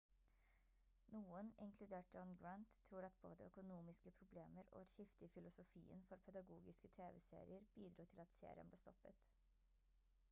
noen inkludert john grant tror at både økonomiske problemer og et skifte i filosofien for pedagogiske tv-serier bidro til at serien ble stoppet